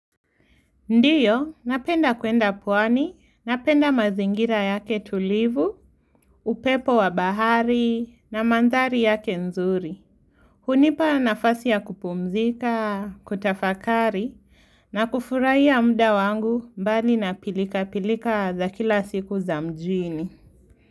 Ndiyo, napenda kuenda pwani, napenda mazingira yake tulivu, upepo wa bahari, na mandhari yake nzuri. Hunipa nafasi ya kupumzika, kutafakari, na kufurahia ya mda wangu mbali na pilika pilika za kila siku za mjini.